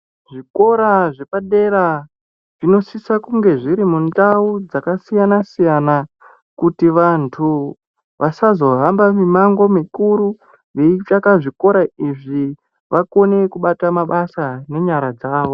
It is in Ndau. Zvikora zvepadera zvinosisa kunge zviri mundau dzakasiyana-siyana kuti vantu vasazohamba mimango mikuru veitsvaka zvikora izvi vakone kubata mabasa nenyara dzawo.